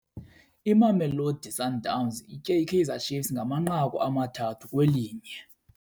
Imamelodi Sundowns itye iKaizer Chiefs ngamanqaku amathathu kwelinye.